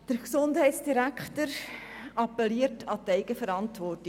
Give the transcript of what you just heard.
Der Herr Gesundheitsdirektor appelliert an die Eigenverantwortung.